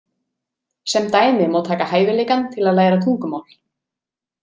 Sem dæmi má taka hæfileikann til að læra tungumál.